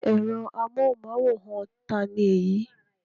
Ẹ̀rọ amóhùmáwòhán ta ni èyí?